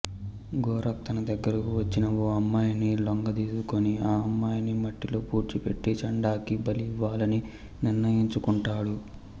గోరక్ తన దగ్గరకు వచ్చిన ఓ అమ్మాయిని లొంగదీసుకుని ఆ అమ్మాయిని మట్టిలో పూడ్చిపెట్టి చండాకి బలి ఇవ్వాలని నిర్ణయించుకుంటాడు